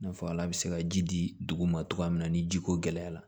I n'a fɔ ala bɛ se ka ji di dugu ma cogoya min na ni jiko gɛlɛyara